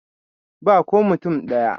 Ba ko mutum ɗaya.